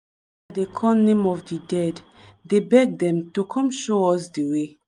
dey call name of di dead dey beg dem to come show us the way.